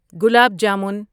gulab jamun